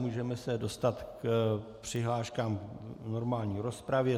Můžeme se dostat k přihláškám v normální rozpravě.